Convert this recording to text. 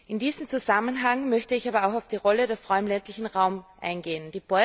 In diesem Zusammenhang möchte ich aber auch auf die Rolle der Frau im ländlichen Raum eingehen.